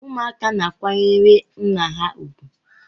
ụmụaka na-akwanyere nna ha ugwu